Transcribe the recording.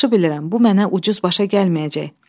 Yaxşı bilirəm, bu mənə ucuz başa gəlməyəcək.